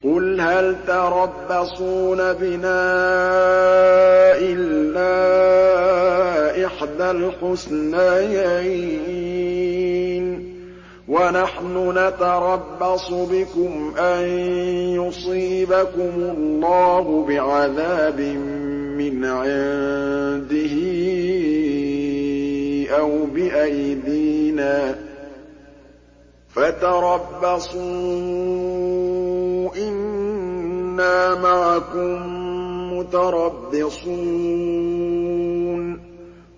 قُلْ هَلْ تَرَبَّصُونَ بِنَا إِلَّا إِحْدَى الْحُسْنَيَيْنِ ۖ وَنَحْنُ نَتَرَبَّصُ بِكُمْ أَن يُصِيبَكُمُ اللَّهُ بِعَذَابٍ مِّنْ عِندِهِ أَوْ بِأَيْدِينَا ۖ فَتَرَبَّصُوا إِنَّا مَعَكُم مُّتَرَبِّصُونَ